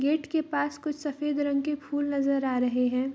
Gate के पास कुछ सफ़ेद रंग के फूल नजर आ रहें हैं।